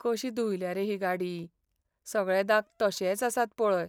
कशी धुयल्या रे ही गाडी, सगळे दाग तशेच आसात पळय.